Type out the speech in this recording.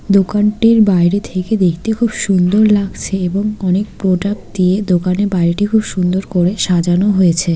দোকানটির বাইরে থেকে দেখতে খুব সুন্দর লাগছে এবং অনেক প্রোডাক্ট দিয়ে দোকানের বাইরে খুব সুন্দর করে সাজানো হয়েছে।